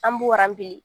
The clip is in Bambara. An b'o rabi